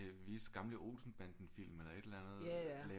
Vise gamle Olsenbandenfilm eller et eller andet lave